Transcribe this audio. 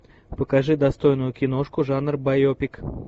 покажи достойную киношку жанра байопик